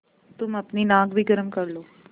तुम अपनी नाक भी गरम कर लो